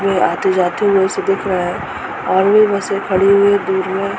में आते-जाते यहाँ से दिख रहा है और भी बसें खड़ी हुई हैं दूर में।